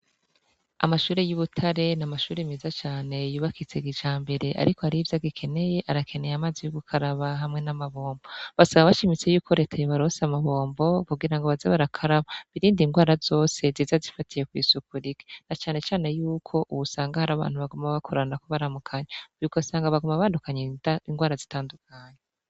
Amashure y'ibutare n'amashure meza yubakitse kijambere ariko harivyo agikeneye. Arakeneye amazi yo gukaraba hamwe namabombo. Basaba bashimitse yuko Leta yobaronsa amabombo kugirango baze barakaraba , birinde ingwara zose ziza zifatiye kw'isuku rike na cane cane yuko wosanga harabantu baguma bakoranako baramukanya , ugasanga baguma bandukanya ingwara zitandukanye.